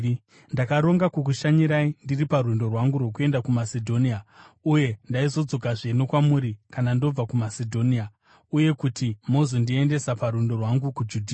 Ndakaronga kukushanyirai ndiri parwendo rwangu rwokuenda kuMasedhonia, uye ndaizodzokazve nokwamuri kana ndobva kuMasedhonia, uye kuti muzondiendesa parwendo rwangu kuJudhea.